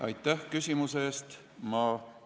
Aitäh küsimuse eest!